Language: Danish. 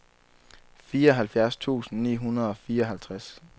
fireoghalvfjerds tusind ni hundrede og fireoghalvtreds